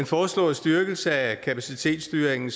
foreslåede styrkelse af kapacitetsstyringen